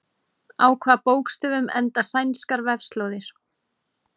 Á hvaða bókstöfum enda sænskar vefslóðir?